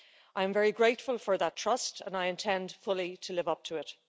I am very grateful for that trust and I intend fully to live up to it.